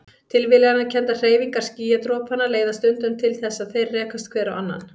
Tilviljanakenndar hreyfingar skýjadropanna leiða stundum til þess að þeir rekast hver á annan.